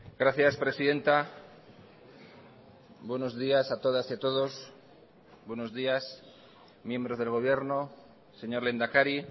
gracias presidenta buenos días a todas y a todos buenos días miembros del gobierno señor lehendakari